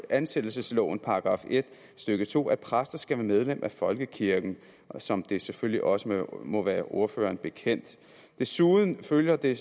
ansættelseslovens § en stykke to at præster skal være medlem af folkekirken som det selvfølgelig også må være ordføreren bekendt desuden følger det